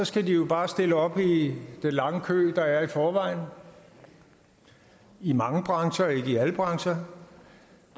skal de jo bare stille op i den lange kø der er i forvejen i mange brancher i alle brancher